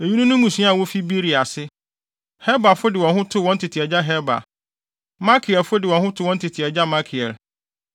Eyinom ne mmusua a wofi Beria ase: Heberfo de wɔn ho too wɔn tete agya Heber; Malkielfo de wɔn ho too wɔn tete agya Malkiel.